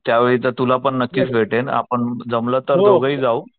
त्या वेळी तर तुला नक्कीच भेटेल आपण जमल तर दोघे हि जाऊ.